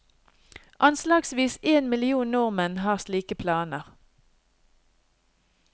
Anslagsvis en million nordmenn har slike planer.